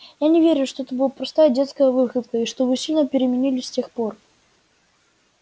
я не верю что это была просто детская выходка и что вы сильно переменились с тех пор